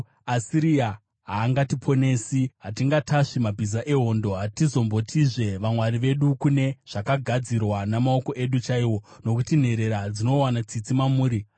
Asiria haingatiponesi; hatingatasvi mabhiza ehondo. Hatizombotizve, ‘Vamwari vedu’ kune zvakagadzirwa namaoko edu chaiwo, nokuti nherera dzinowana tsitsi mamuri.”